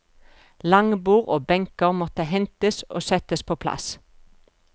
Langbord og benker måtte hentes og settes på plass.